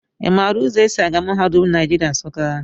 I maara ụzọ e si aga mahadum Naijiria, Nsụka?